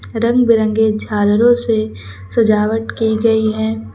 रंग बिरंगे झालरो से सजावट की गई है।